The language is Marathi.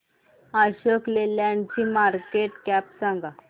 अशोक लेलँड ची मार्केट कॅप सांगा